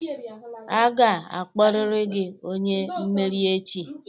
Aga-akpọrịrị gị onye mmeri echi!